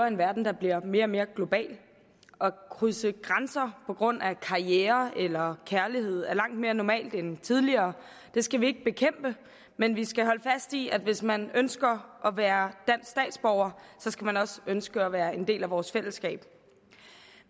en verden der bliver mere og mere global at krydse grænser på grund af karriere eller kærlighed er langt mere normalt end tidligere det skal vi ikke bekæmpe men vi skal holde fast i at hvis man ønsker at være dansk statsborger skal man også ønske at være en del af vores fællesskab